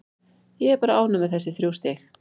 Ég er bara ánægð með þessi þrjú stig.